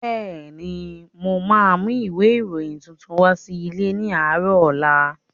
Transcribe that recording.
Bẹ́ẹ̀ni, mo ma mú ìwé ìròyìn tuntun wá sí ilé ní àárọ̀ ọ̀la